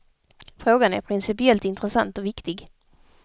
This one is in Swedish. Frågan är principiellt intressant och viktig.